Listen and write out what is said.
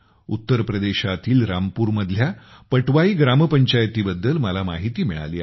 उत्तर प्रदेशातील रामपूरमधल्या पटवाई ग्रामपंचायतीबद्दल मला माहिती मिळाली आहे